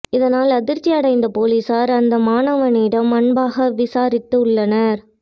இதனால் அதிர்ச்சி அடைந்த போலிசார் அந்த மாணவனிடம் அன்பாக விசாரித்துள்ளனர்